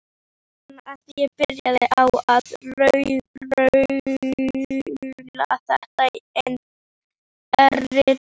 Ég man að ég byrjaði á að raula þetta erindi: